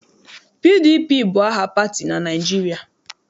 PDP bụ aha pati na Naịjirịa.